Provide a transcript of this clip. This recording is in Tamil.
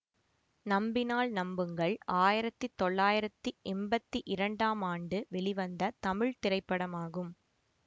நம்பினால் நம்புங்கள் ஆயிரத்தி தொள்ளாயிரத்தி எம்பத்தி இரண்டாம் ஆண்டு வெளிவந்த தமிழ் திரைப்படமாகும்